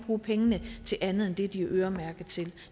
bruge pengene til andet end det de er øremærket til